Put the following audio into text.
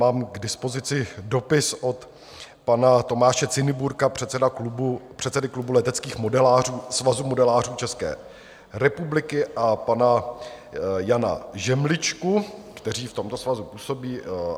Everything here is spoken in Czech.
Mám k dispozici dopis od pana Tomáše Ciniburka, předsedy Klubu leteckých modelářů Svazu modelářů České republiky, a pana Jana Žemličky, kteří v tomto svazu působí.